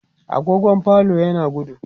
agogon falon yana gudu